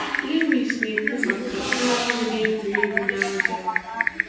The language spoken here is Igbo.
Lewis na-ekwu maka nwa ahụ na-egwuri egwu na aja